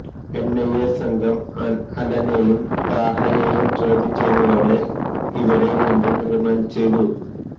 NIA സംഘം അലനെയും താഹയെയും ചോദ്യം ചെയ്തതോടെ ഇവരെ വീണ്ടും റിമാന്ഡ് ചെയ്തു